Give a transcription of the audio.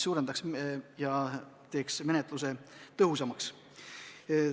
See teeks sellealase töö tõhusamaks.